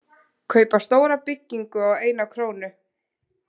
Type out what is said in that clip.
Kaupa stóra byggingu á eina krónu